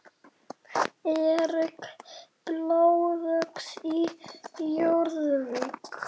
Eirík blóðöx í Jórvík.